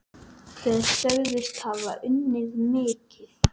Þeir sögðust hafa unnið mikið.